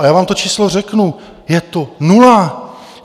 A já vám to číslo řeknu: je to nula.